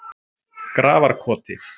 Grafarkoti